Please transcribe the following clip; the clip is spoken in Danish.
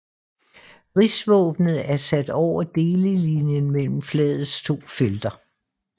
Rigsvåbnet er sat over delelinjen mellem flagets to felter